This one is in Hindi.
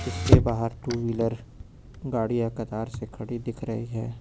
इसके बाहर टू व्हीलर गाड़िया कतार से खड़ी दिख रही है।